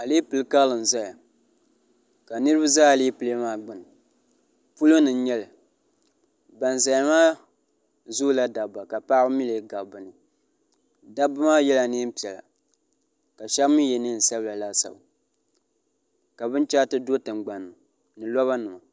alɛpilɛ karili n ʒɛya ka niraba ʒɛ alɛpilɛ maa gbuni polo ni n nyɛli ban ʒɛya maa zoola dabba ka paɣaba mii lee gabi bi ni dabba maa yɛla neen piɛla ka shab mii yɛ neen sabila laasabu ka binchɛriti do tingbanni ni roba nima